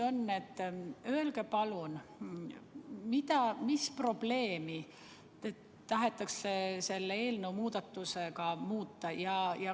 Öelge palun, mis probleemi tahetakse selle eelnõuga muuta.